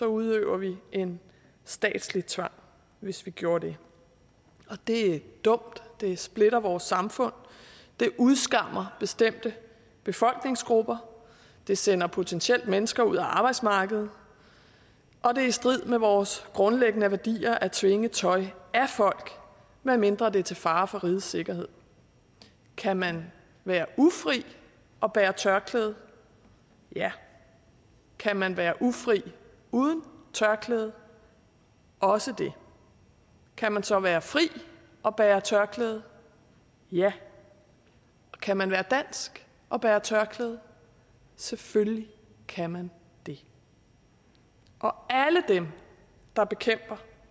udøver vi en statslig tvang hvis vi gjorde det og det er dumt det splitter vores samfund det udskammer bestemte befolkningsgrupper det sender potentielt mennesker ud af arbejdsmarkedet og det er i strid med vores grundlæggende værdier at tvinge tøj af folk medmindre det er til fare for rigets sikkerhed kan man være ufri og bære tørklæde ja kan man være ufri uden tørklæde også det kan man så være fri og bære tørklæde ja kan man være dansk og bære tørklæde selvfølgelig kan man det og alle dem der bekæmper